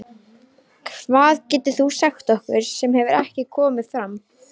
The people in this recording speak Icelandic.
Hvað getur þú sagt okkur sem hefur ekki komið fram?